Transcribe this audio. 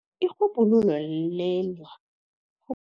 Irhubhululo